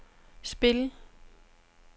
spil